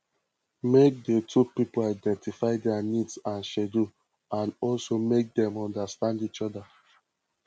make di two pipo identify their needs and schedule and also make them understand each other